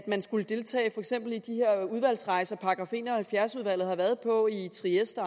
man skulle deltage for eksempel i de her udvalgsrejser som § en og halvfjerds udvalget har været på i trieste